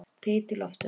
Þyt í loftinu?